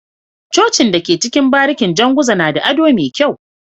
Cocin da ke cikin barikin janguza nada ado me kyau